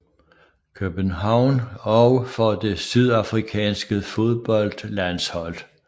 København og for det sydafrikanske fodboldlandshold